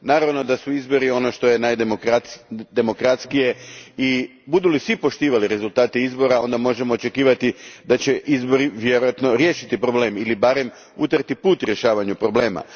Naravno da su izbori ono što je najdemokratskije i budu li svi poštovali rezultate izbora onda možemo očekivati da će izbori vjerojatno riješiti problem ili barem utrti put rješavanju problema.